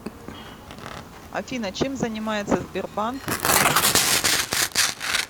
афина чем занимается сбербанк лизинг